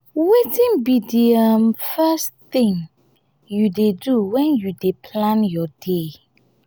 wetin be di um first thing you dey do when you dey plan your day?